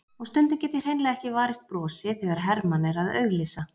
Og stundum get ég hreinlega ekki varist brosi þegar Hermann er að auglýsa.